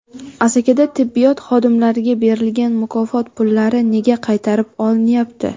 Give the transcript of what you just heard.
Asakada tibbiyot xodimlariga berilgan mukofot pullari nega qaytarib olinyapti?.